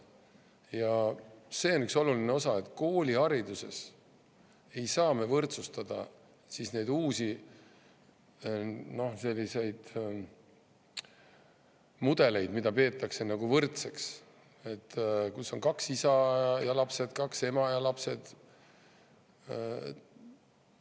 Ja see on üks oluline osa: koolihariduses me ei saa võrdsustada neid uusi mudeleid, mida peetakse nagu, kus on kaks isa ja lapsed, kaks ema ja lapsed.